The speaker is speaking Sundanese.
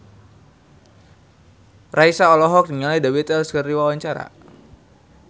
Raisa olohok ningali The Beatles keur diwawancara